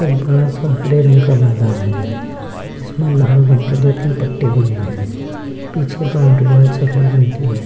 एक बड़ा सा हरे रंग का मैदान है जिसमें लाल रंग के दो-तीन पट्टे बने हैं पीछे बाउंड्री वॉल सफेद रंग की है।